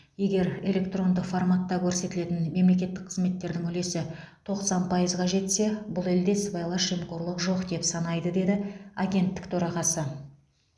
егер элеткронды форматта көрсетілетін мемлекеттік қызметтердің үлесі тоқсан пайызға жетсе бұл елде сыбайлас жемқорлық жоқ деп санайды деді агенттік төрағасы